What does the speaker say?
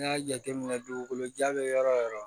N'i y'a jateminɛ dugukolo ja bɛ yɔrɔ o yɔrɔ